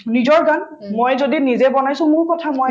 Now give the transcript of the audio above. নিজৰ গান মই যদি নিজে বনাইছো মোৰ কথা মই